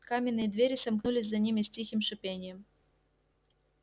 каменные двери сомкнулись за ними с тихим шипением